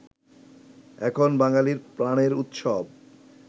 এখন বাঙালির প্রাণের উৎসব